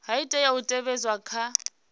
ha tea u teavhedzwa kha